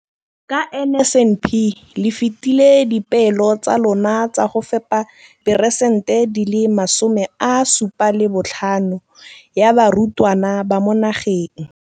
Ka NSNP le fetile dipeelo tsa lona tsa go fepa peresnte dinle 75 ya barutwana ba mo nageng.